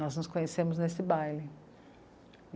Nós nos conhecemos nesse baile.